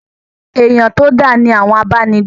Èyán to dá ni àwọn abánigbé.